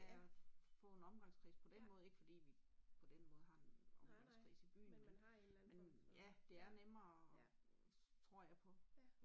Få en omgangskreds på den måde, ikke fordi vi på den måde har en omgangskreds i byen men men ja det er nemmere tror jeg på